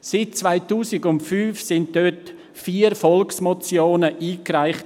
Seit 2005 wurden dort vier Volksmotionen eingereicht.